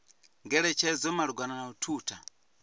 ngeletshedzo malugana na u thutha